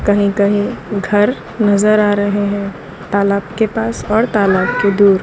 कहीं कहीं घर नजर आ रहे हैं तालाब के पास और तालाब के दूर।